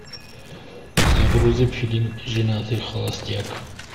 загрузи фильм женатый холостяк